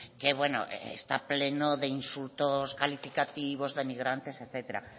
que bueno está pleno de insultos calificativos denigrantes etcétera